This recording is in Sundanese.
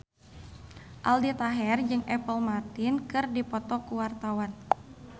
Aldi Taher jeung Apple Martin keur dipoto ku wartawan